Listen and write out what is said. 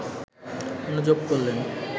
অনুযোগ করলেন